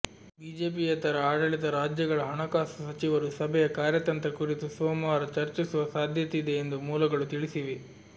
ಬಿಜೆಪಿಯೇತರ ಆಡಳಿತ ರಾಜ್ಯಗಳ ಹಣಕಾಸು ಸಚಿವರು ಸಭೆಯ ಕಾರ್ಯತಂತ್ರ ಕುರಿತು ಸೋಮವಾರ ಚರ್ಚಿಸುವ ಸಾಧ್ಯತೆಯಿದೆ ಎಂದೂ ಮೂಲಗಳು ತಿಳಿಸಿವೆ